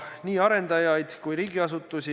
Arupärijate esindajana palun siia kõnepulti Jevgeni Ossinovski.